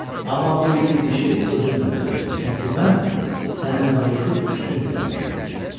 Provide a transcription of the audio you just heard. Amma bu iti dişi özümlə götürəcəm, çünki mən səninlə vuruşub üstün gəlmişəm.